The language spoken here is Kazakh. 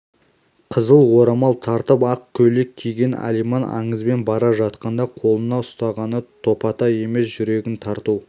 қызыл орамал тартып ақ көйлек киген алиман аңызбен бара жатқанда қолына ұстағаны топатай емес жүрегін тарту